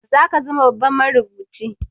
Zaka zama babban marubuci